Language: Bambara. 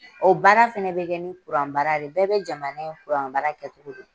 O baara fɛnɛ bɛ kɛ ni baara de ye bɛɛ bɛ jamana in baara kɛcogo dɔn.